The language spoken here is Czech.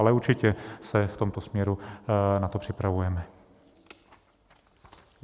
Ale určitě se v tomto směru na to připravujeme.